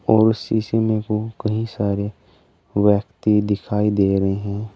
और शीशे में ओ कई सारे व्यक्ति दिखाई दे रहे हैं।